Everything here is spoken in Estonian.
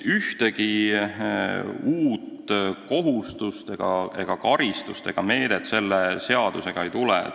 Ühtegi uut kohustust, karistust ega meedet selle seadusega ei teki.